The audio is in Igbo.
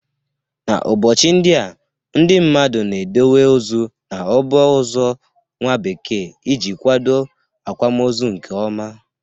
N'ụbọchị ndịa, ndị mmadụ na-edowe ozu n'ọba ozo nwa bekee iji kwado akwamozo nke ọma.